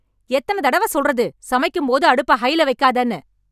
எத்தன தடவ சொல்றது சமைக்கும் போது அடுப்ப ஹைல வைக்காதேன்னு